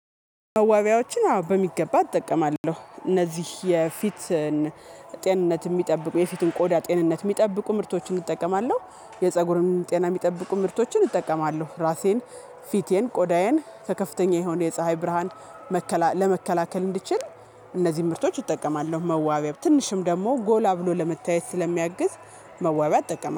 መዋቢያዎችን አዎ በሚገባ እጠቀማለሁ እነዚህ የፊትን ጤንነት የሚጠብቁ የፊትን ቆዳ ጤንነት የሚጠብቁ ምርቶችን እጠቀማለሁ። የፀጉርን ጤና የሚጠብቁ ምርቶችን እጠቀማለሁ። ራሴን ፊቴን ቆዳዬን ከከፍተኛ የሆነ የፀሀይ ብርሃን መከላ ለመከላከል እንድችል እነዚህን ምርቶች እጠቀማለሁ። መዋቢያም ትንሽም ደግሞ ጎላ ብሎ ለመታየት ስለሚያግዝ መዋቢያ እጠቀማለሁ